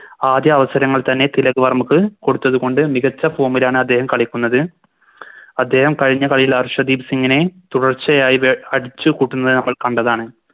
ആദ്യ അവസരങ്ങൾ തന്നെ തിലക് വർമ്മക്ക് കൊടുത്തത് കൊണ്ട് മികച്ച Form ലാണ് അദ്ദേഹം കളിക്കുന്നത് അദ്ദേഹം കഴിഞ്ഞ കളിയിൽ ഹർഷദീപ് സിങിനെ തുടർച്ചയായി ബേ അടിച്ച് കൂട്ടുന്നെ നമ്മൾ കണ്ടതാണ്